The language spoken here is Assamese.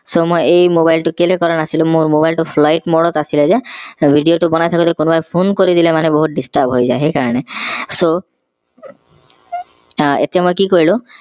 so মই এই mobile টো কেলে কৰা নাছিলো মোৰ mobile টো flight mode ত আছিলে যে video টো বনাই থাকোতে কোনোবাই phone কৰি দিলে মানে বহুত disturb হৈ যায় সেই কাৰনে so আহ এতিয়া মই কি কৰিলো